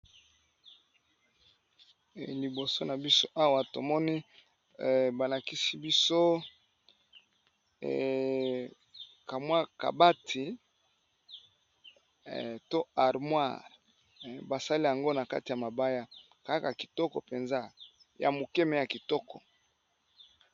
Liboso na biso awa ezali armoire basali ya sika, okoki ko tiya television na kati. Esalami na libaya.